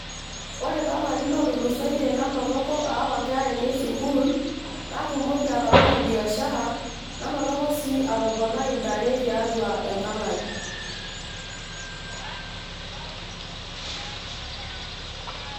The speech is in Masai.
ore toolarin ootulusoitie nanotoko aawa inkera ainei sukuul natumoki atabolo biashara nanotoko sii atoponai intare tiatua enkang ai.